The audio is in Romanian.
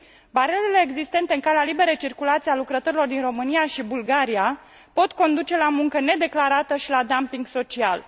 Barierele existente în calea liberei circulații a lucrătorilor din România și Bulgaria pot conduce la muncă nedeclarată și la dumping social.